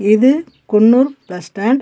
இது Coonoor bus stand .